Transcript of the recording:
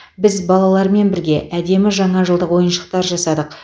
біз балалармен бірге әдемі жаңа жылдық ойыншықтар жасадық